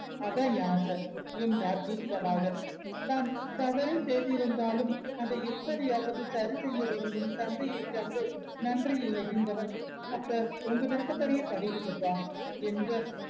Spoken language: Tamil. அதா என் ஆச என்றார் தீர்க்கமாக தான் தவறே செய்திருந்தாலும் அத எப்படியாவது சரி செய்ய விரும்பும் தந்தையை கண்டு நன்றி உணர்கின்றவன் அப்ப உங்க விருப்பப்படியே பண்ண்ணிடுங்கப்பா என்க